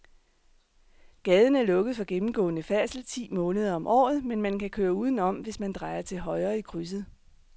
Gaden er lukket for gennemgående færdsel ti måneder om året, men man kan køre udenom, hvis man drejer til højre i krydset.